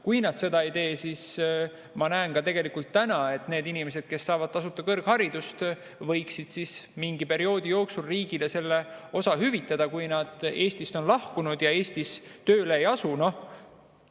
Kui nad seda ei tee, siis ma näen, et need inimesed, kes on saanud tasuta kõrghariduse, võiksid mingi perioodi jooksul riigile selle osa hüvitada, kui nad on Eestist lahkunud ja Eestis tööle ei ole asunud.